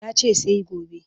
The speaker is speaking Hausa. Ya ce sai gobe